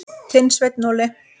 Þinn, Sveinn Óli.